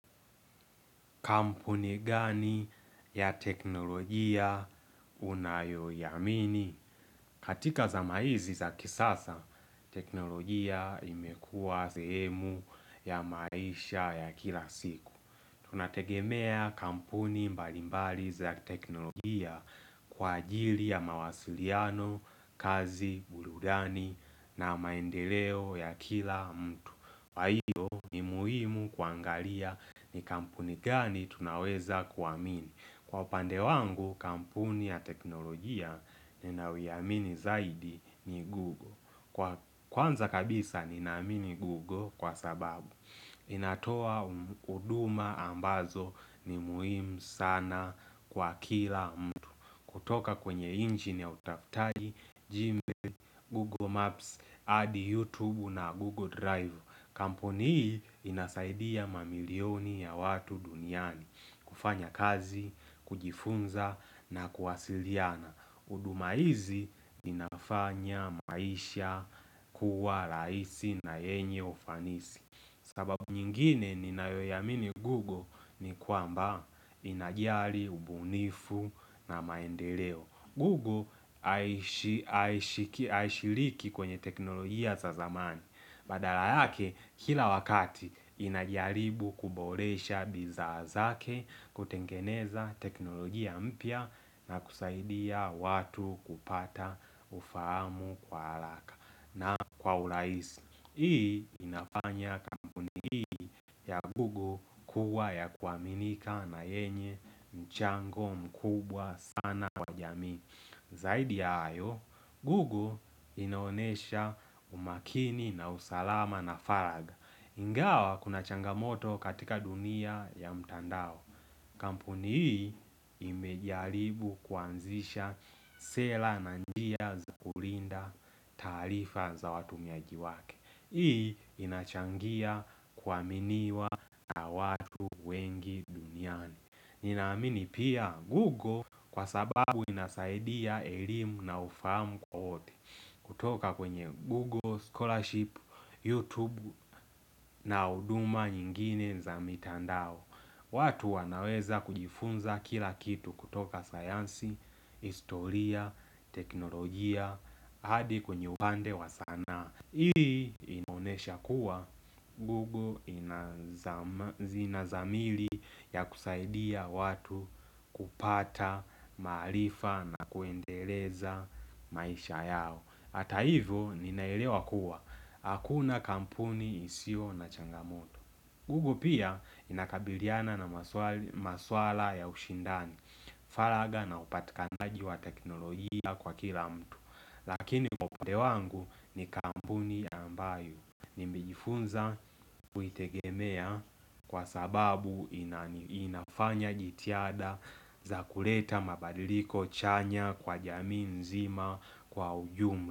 Kampuni gani ya teknolojia unayoiamini? Katika zama hizi za kisasa, teknolojia imekua sehemu ya maisha ya kila siku. Tunategemea kampuni mbalimbali za kiteknolojia kwa ajili ya mawasiliano, kazi, burudani na maendeleo ya kila mtu. Kwa hiyo ni muhimu kuangalia ni kampuni gani tunaweza kuamini Kwa upande wangu kampuni ya teknolojia ninayoiamini zaidi ni Google. Kwa kwanza kabisa ninaamini Google kwa sababu inatoa mh huduma ambazo ni muhimu sana kwa kila mtu kutoka kwenye injini ya utafutaji, Gmail, Google Maps, adi YouTube na Google Drive Kampuni hii inasaidia mamilioni ya watu duniani kufanya kazi, kujifunza na kuwasiliana. Huduma hizi zinafanya maisha kuwa rahisi na yenye ufanisi. Sababu nyingine ninayoiamini Google ni kwamba inajari, ubunifu na maendeleo Google haish a Haishiriki kwenye teknolojia za zamani Badala yake kila wakati inajaribu kuboresha bidhaa zake kutengeneza teknolojia mpya na kusaidia watu kupata ufahamu kwa haraka na kwa urahisi, hii inafanya kampuni hii ya Google kuwa ya kuaminika na yenye mchango mkubwa sana kwa jamii Zaidi ya hayo, Google inaonesha umakini na usalama na faragha Ingawa kuna changamoto katika dunia ya mtandao Kampuni hii imejaribu kuanzisha sa sela na njia za kulinda taarifa za watumiaji wake. Hii inachangia kuaminiwa na watu wengi duniani ninaamini pia Google kwa sababu inasaidia elimu na ufahamu kwa wote kutoka kwenye Google, scholarship, YouTube na huduma nyingine za mitandao watu wanaweza kujifunza kila kitu kutoka sayansi, historia, teknolojia, hadi kwenye upande wa sanaa. Hii imeonesha kuwa, Google inazama inazamili ya kusaidia watu kupata, maarifa na kuendeleza maisha yao. Hata hivo, ninaelewa kuwa, hakuna kampuni isiyo na changamoto. Google pia inakabiliana na maswali maswala ya ushindani, faragha na upatikanaji wa teknolojia kwa kila mtu. Lakini kwa upande wangu ni kampuni ambayo Nimejifunza kuitegemea kwa sababu inani inafanya jitihada za kuleta mabadiliko chanya kwa jamii nzima kwa ujum.